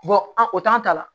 an o t'an ta la